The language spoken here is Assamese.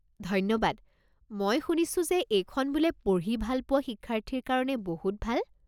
ধন্যবাদ, মই শুনিছো যে এইখন বোলে পঢ়ি ভাল পোৱা শিক্ষাৰ্থীৰ কাৰণে বহুত ভাল?